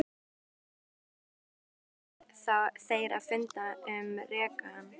Í byrjun næstu viku ætluðu þeir að funda um rekann.